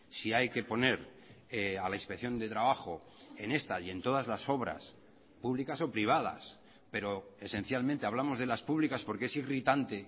si hay que poner a la inspección de trabajo en esta y en todas las obras públicas o privadas pero esencialmente hablamos de las públicas porque es irritante